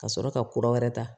Ka sɔrɔ ka kura wɛrɛ ta